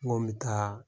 N ko n bɛ taa